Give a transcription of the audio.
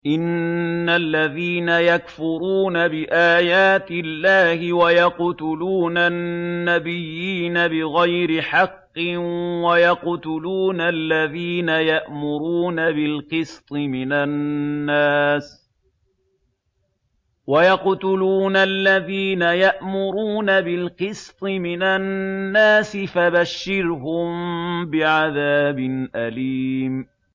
إِنَّ الَّذِينَ يَكْفُرُونَ بِآيَاتِ اللَّهِ وَيَقْتُلُونَ النَّبِيِّينَ بِغَيْرِ حَقٍّ وَيَقْتُلُونَ الَّذِينَ يَأْمُرُونَ بِالْقِسْطِ مِنَ النَّاسِ فَبَشِّرْهُم بِعَذَابٍ أَلِيمٍ